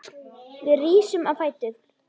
Við rísum á fætur.